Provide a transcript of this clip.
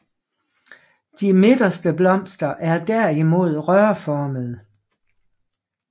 De midterste blomster er derimod rørformede